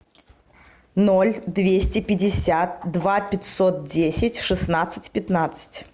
ноль двести пятьдесят два пятьсот десять шестнадцать пятнадцать